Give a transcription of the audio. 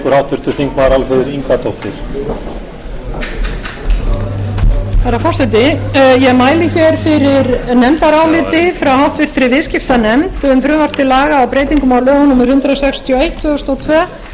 herra forseti ég mæli hér fyrir nefndaráliti frá háttvirtri viðskiptanefnd um frumvarp til laga um breytingar á lögum númer hundrað sextíu og eitt